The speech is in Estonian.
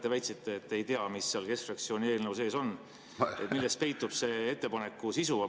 Te väitsite, et ei tea, mis seal keskfraktsiooni eelnõu sees on ja milles peitub see ettepaneku sisu.